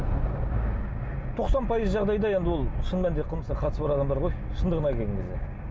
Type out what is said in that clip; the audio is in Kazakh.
тоқсан пайыз жағдайда енді ол шын мәнінде қылмысқа қатысы бар адамдар ғой шындығына келген кезде